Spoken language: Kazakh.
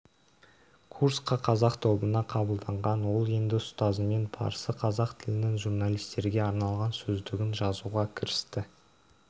курсқа қазақ тобына қабылданған ол енді ұстазымен парсы-қазақ тілінің журналистерге арналған сөздігін жазуға кірісті